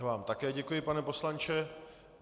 Já vám také děkuji, pane poslanče.